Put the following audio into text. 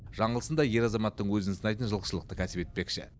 жаңылсын да ер азаматтың өзін сынайтын жылқышылықты кәсіп етпекші